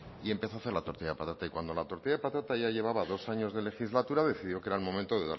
y empezó a hacer la tortilla de patata y cuando la tortilla de patata ya llevaba dos años de legislatura decidió que era el momento de